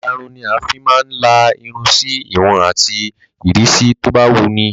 Ìlarun ni a fi máa ń la irun sí ìwọ̀n àti ìrísí tó bá wun ni.